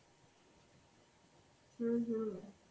হম হম